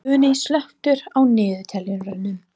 Funi, slökktu á niðurteljaranum.